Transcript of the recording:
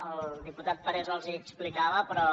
el diputat parés els hi explicava però